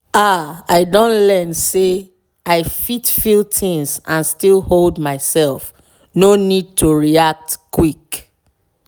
ah i don learn say i fit feel things and still hold myself no need to react quick.